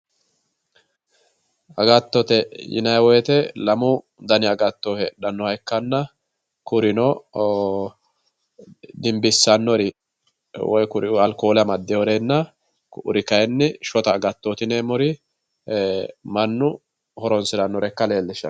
Agattote yinayiwoyite lamu dani agatto heedhannoha ikkanna kurino dimbissannori alkoole amaddinorinna ku'uri kayinni mannu horonsiranno shota agatto ikka leellishshanno.